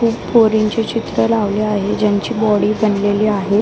एक पोरींचे चित्र लावले आहे ज्यांची बॉडी बनलेली आहे.